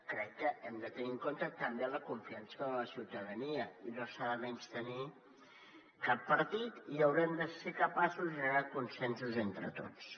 crec que hem de tenir en compte també la confiança que els hi dona la ciutadania i no s’ha de menystenir cap partit i haurem de ser capaços de generar consensos entre tots